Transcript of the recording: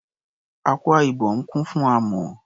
Akwa Ibom kún fún amọ̀.